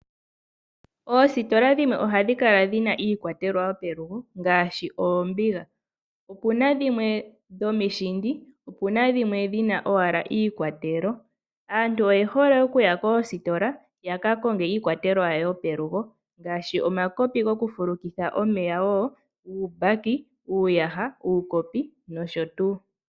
Oositola dhimwe ohadhikala dhina iikwatelwa yopelugo ngaashi oombiga, opuna dhimwe dhomishindi opuna dhimwe dhina owala iikwatelo, aantu oyehole okuya koositola yaka konge iikwatelwa yopelugo ngaashi omakopi gokufulukitha omeya, uumbaki, uuyaha, uukopi noshotuu.